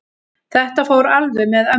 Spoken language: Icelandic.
Þetta fór alveg með ömmu.